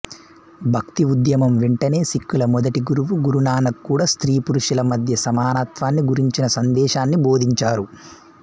భక్తి ఉద్యమం వెంటనే సిక్కుల మొదటి గురువు గురునానక్ కూడా స్త్రీ పురుషుల మధ్య సమానత్వాన్ని గురించిన సందేశాన్ని బోధించారు